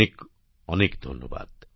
অনেক অনেক ধন্যবাদ